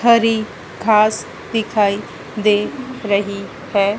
हरी घास दिखाई दे रही है।